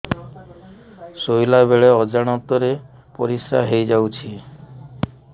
ଶୋଇଲା ବେଳେ ଅଜାଣତ ରେ ପରିସ୍ରା ହେଇଯାଉଛି